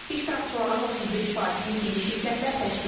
İştirakçıların 35%-ni yeni şirkətlər təşkil edir.